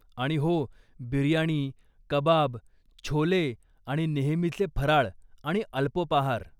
आणि हो, बिर्याणी, कबाब, छोले आणि नेहमीचे फराळ आणि अल्पोपाहार.